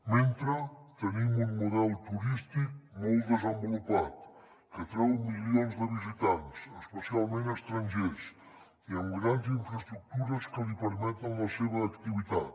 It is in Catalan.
mentrestant tenim un model turístic molt desenvolupat que atreu milions de visitants especialment estrangers i amb grans infraestructures que li permeten la seva activitat